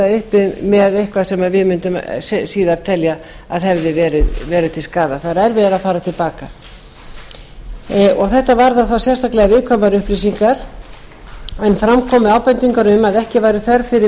uppi með eitthvað sem við mundum síðar telja að hefði verið til skaða það er erfiðara að fara til baka þetta varðar þá sérstaklega viðkvæmar upplýsingar en fram komu ábendingar um að ekki væri þörf fyrir